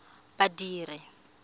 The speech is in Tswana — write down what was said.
badiri